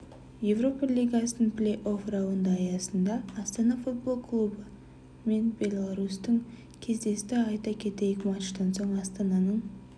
еуропа лигасының плей-офф раунды аясында астана футбол клубы мен беларусьтің кездесті айта кетейік матчтан соң астананың